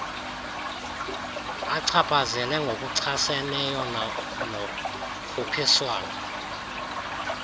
achaphazele ngokuchaseneyo nokhuphiswano